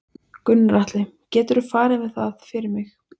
Gunnar Atli: Geturðu farið með það fyrir mig?